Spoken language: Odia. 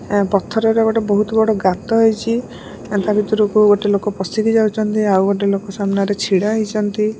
ଆ ପଥରର ଗୋଟେ ବୋହୁତ ବଡ଼ ଗାତ ହେଇଚି। ତା ଭିତୁରକୁ ଗୋଟେ ଲୋକ ପଶିକି ଯାଉଚନ୍ତି। ଆଉ ଗୋଟେ ଲୋକ ସାମ୍ନାରେ ଛିଡ଼ା ହେଇଚନ୍ତି।